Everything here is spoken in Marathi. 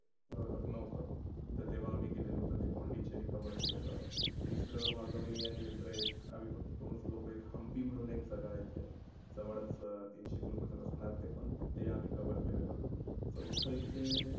अं लग्न होतं. तर तेव्हा आम्ही गेलेलो तर ते पोंडीचेरी cover केलेलं. तीसर माझा मी आणि मित्र एक आम्ही फक्त दोनच लोक एक हंप्पी म्हणून एक जागा आहे इथे. जवळचं तीनशे किलोमीटर असणार ते. ते आम्ही cover. चौथे इथे